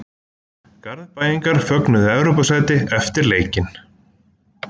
Garðbæingar fögnuðu Evrópusæti eftir leikinn.